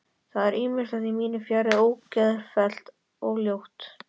Það er ýmislegt í mínu fari ógeðfellt og ljótt.